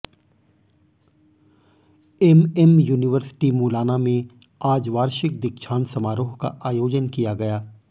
MM university Mullana में आज वार्षिक दीक्षांत समारोह का आयोजन किया गया